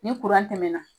Ni tɛmɛna